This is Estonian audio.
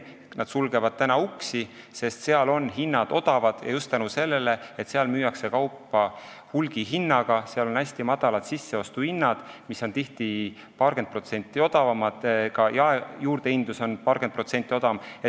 Nad sulgevad uksi, sest suurtes piiripoodides on hinnad odavad, sest neis müüakse kaupa hulgihinnaga – seal on hästi väikesed sisseostuhinnad, tihti paarkümmend protsenti odavamad, ja ka jaejuurdehindlus on tunduvalt väiksem.